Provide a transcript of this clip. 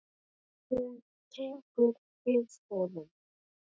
Hún tekur við honum.